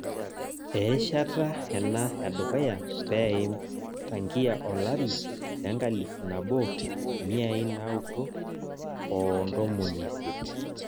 Erishata ena edukuya peim tangia olari lenkalifu nabo miai naudo oo ntomoni isiet